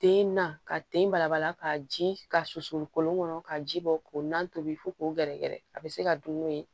Den na ka den balabala ka ji ka susuli kolon kɔnɔ ka ji bɔ k'o na tobi fo k'o gɛrɛgɛrɛ a bɛ se ka dun n'o ye